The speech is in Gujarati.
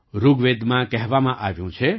ઋગ્વેદમાં કહેવામાં આવ્યું છે